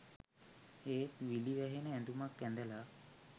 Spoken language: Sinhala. ඒත් විලි වැහෙන ඇඳුමක් ඇඳලා